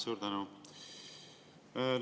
Suur tänu!